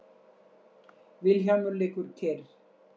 Vilhjálmur liggur kyrr.